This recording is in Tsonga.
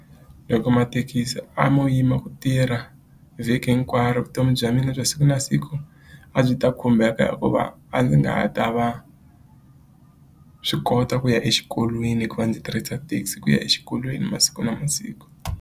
Loko mathekisi a mo yima ku tirha vhiki hinkwaro vutomi bya mina bya siku na siku a byi ta khumbeka hikuva a ndzi nga ha ta va swi kota ku ya exikolweni hikuva ndzi tirhisa taxi ku ya exikolweni masiku na masiku.